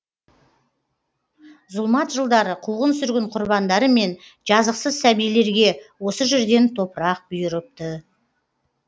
зұлмат жылдары қуғын сүргін құрбандары мен жазықсыз сәбилерге осы жерден топырақ бұйырыпты